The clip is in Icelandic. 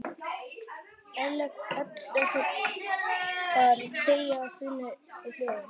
Ellegar þegja þunnu hljóði?